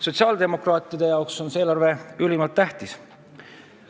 Sotsiaaldemokraatide jaoks on see eelarve ülimalt tähtis.